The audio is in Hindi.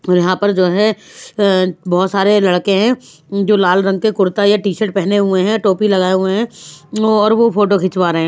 और यहाँ पर जो है अह बहुत सारे लड़के हैं जो लाल रंग के कुर्ता या टी-शर्ट पहने हुए हैं टोपी लगाए हुए हैं और वो फोटो खिंचवा रहे हैं।